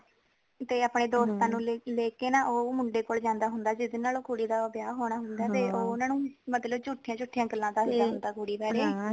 ਤੇ ਆਪਣੇ ਦੋਸਤਾਂ ਨੂੰ ਲੈ ਕੇ ਨਾ ਉਹ ਮੁੰਡੇ ਕੋਲ ਜਾਂਦਾ ਹੁੰਦਾ ਜੀਹਦੇ ਨਾਲ ਉਹ ਕੁੜੀ ਦਾ ਵਿਆਹ ਹੋਣਾ ਹੁੰਦਾ ਤੇ ਉਹ ਉਹਨਾਂ ਨੂੰ ਮਤਲੱਬ ਜੂਠੀਆਂ ਜੂਠੀਆਂ ਗੱਲ਼ਾਂ ਦਸਦਾ ਹੁੰਦਾ ਕੁੜੀ ਬਾਰੇ